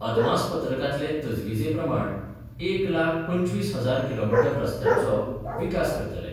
अदमासपत्रकांतले तजवीजे प्रमाण एक लाख पंचवीस हजार किलोमिटर रसत्यांचो विकास करतले.